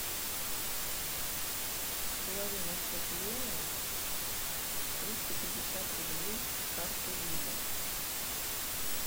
положи на счет лены триста пятьдесят рублей с карты виза